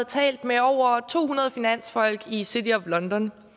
talt med over to hundrede finansfolk i city of london